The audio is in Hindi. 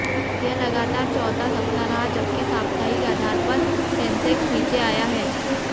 यह लगातार चौथा सप्ताह रहा जबकि साप्तहिक आधार पर सेंसेक्स नीचे आया है